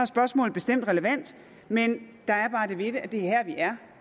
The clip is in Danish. spørgsmålet bestemt relevant men der er bare det ved det at det er her vi er